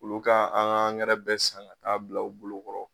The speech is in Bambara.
Olu ka an ga angɛrɛ bɛɛ san ka t'a bila u bolokɔrɔ